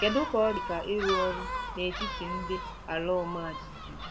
Kedu ka ọ dị ka ịrụ ọrụ n'etiti ndị ala ọma jijiji